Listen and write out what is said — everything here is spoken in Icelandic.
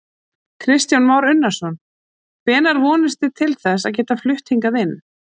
Kristján Már Unnarsson: Hvenær vonist þið til þess að geta flutt hingað inn?